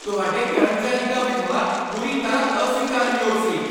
ਤੁਹਾਡੇ ਕਰਮਚਾਰੀ ਦਾ ਵਿਵਹਾਰ ਪੂਰੀ ਤਰ੍ਹਾਂ ਅਸਵੀਕਾਰਨਯੋਗ ਸੀ।